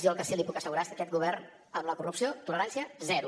jo el que sí li puc assegurar és que aquest govern amb la corrupció tolerància zero